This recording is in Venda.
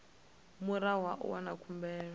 murahu ha u wana khumbelo